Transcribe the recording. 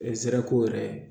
E nsɛrɛ ko yɛrɛ